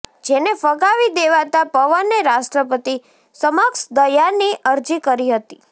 જેને ફગાવી દેવાતા પવને રાષ્ટ્રપતિ સમક્ષ દયાની અરજી કરી હતી